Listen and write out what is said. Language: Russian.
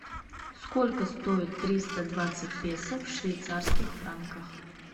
сколько стоит триста двадцать песо в швейцарских франках